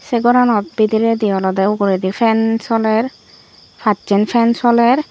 se goranot bidiredi olowde uguredi fan soler pacchan fan soler.